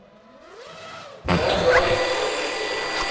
land rights management